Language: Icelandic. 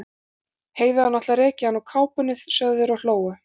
Heiða hefur náttúrlega rekið hana úr kápunni, sögðu þeir og hlógu.